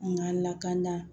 N ka lakana